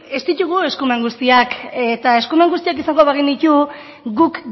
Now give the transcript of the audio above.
ez ditugu eskumen guztiak eta eskumen guztiak izango bagenitu guk